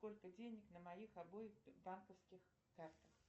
сколько денег на моих обоих банковских картах